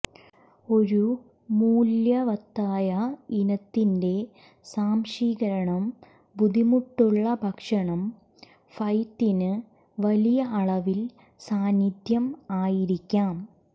ഒരു മൂല്യവത്തായ ഇനത്തിന്റെ സ്വാംശീകരണം ബുദ്ധിമുട്ടുള്ള ഭക്ഷണം ഫ്യ്തിന് വലിയ അളവിൽ സാന്നിധ്യം ആയിരിക്കാം